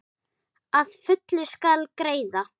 Að fullu skal greiða